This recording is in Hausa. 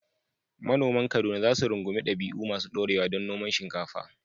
Manoman Kaduna za su rungumi dabi’u masu ɗorewa na noman shinkafa.